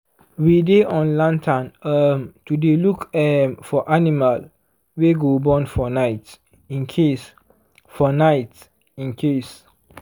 we dy on lantern um to dy look um for animal wy go born for night incase for night incase